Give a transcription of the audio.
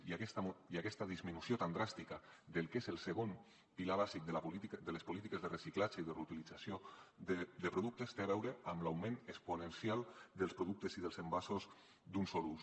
i aquesta disminució tan dràstica del que és el segon pilar bàsic de les polítiques de reciclatge i de reutilització de productes té a veure amb l’augment exponencial dels productes i dels envasos d’un sol ús